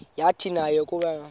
yathi nayo yakuwabona